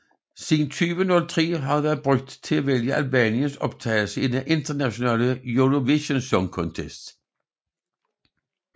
Siden 2003 har det været brugt til at vælge Albaniens optagelse i den internationale Eurovision Song Contest